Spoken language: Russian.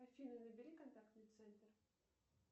афина набери контактный центр